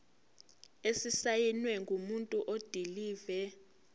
esisayinwe ngumuntu odilive